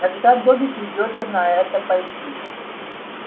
тогда добби придётся на это пойти